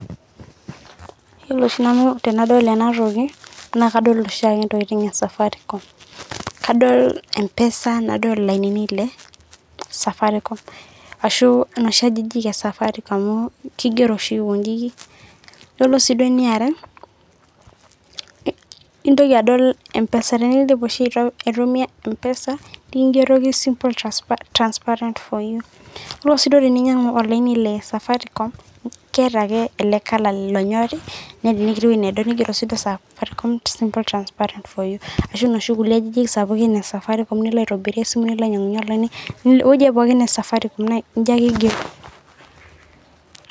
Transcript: Iyo oshi nanu Tenadol enatoki naa kadol oshi intokitin e safari com enaa empesa enaa noshi ajijiki e safari com amu kigero Aikonji ore eniarw intoki adol tenindip aitumia empesa nikingeroki simple transparent for you ore sii yeninyiangu olaini le safari com keeta ake sininue ina toki e safari com naa ore sii iwejitin pookin e safaricom naa kigero Aikonji